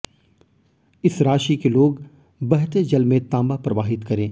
इस राशि के लोग बहते जल में तांबा प्रवाहित करें